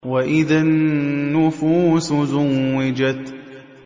وَإِذَا النُّفُوسُ زُوِّجَتْ